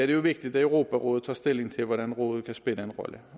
det jo vigtigt at europarådet tager stilling til hvordan rådet kan spille en rolle